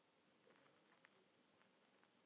Þarna er þessi og hérna hinn.